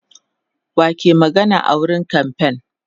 wa ke magana a wurin kamfain